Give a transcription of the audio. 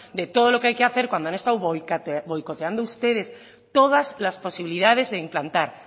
de todo lo que hay que hacer cuando han estado boicoteando ustedes todas las posibilidades de implantar